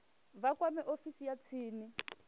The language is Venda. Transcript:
vha kwame ofisi ya tsini